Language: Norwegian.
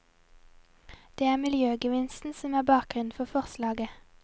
Det er miljøgevinsten som er bakgrunnen for forslaget.